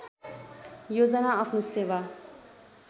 योजना आफ्नो सेवा